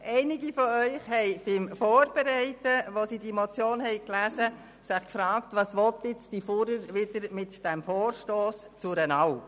Einige von ihnen haben sich bei der Vorbereitung auf die Motion und beim Lesen derselben gefragt, was «die Fuhrer» jetzt wieder mit ihrem Vorstoss zu einer Alp bezweckt.